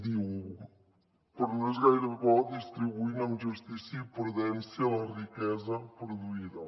diu però no és gaire bo distribuint amb justícia i prudència la riquesa produïda